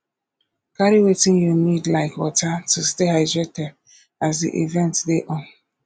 carry wetin you need like water to stay hydrated as di event dey on